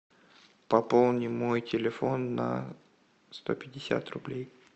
пополни мой телефон на сто пятьдесят рублей